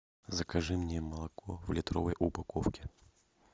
закажи мне молоко в литровой упаковке